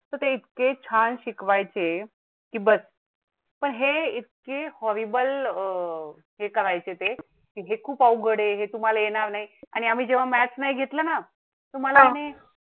तर ते इतके छान शिकवायचे की बस. हे इतके हॉरीबल आह हे करायचे ते जे खूप अवघड आहे तुम्हाला येणार नाही आणि आम्ही जे maths नाही घेतला ना तुम्हाला